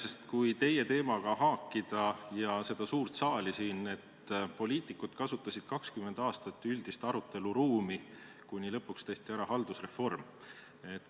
Aga kui teie teemaga haakida seda suurt saali siin, siis poliitikud kasutasid 20 aastat üldist aruteluruumi, kuni lõpuks tehti ära haldusreform.